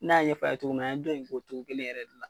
N'a ɲɛ f'a ye togo min na an ye dɔn in k'o cogo kelen yɛrɛ de la.